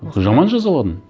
жаман жазаладым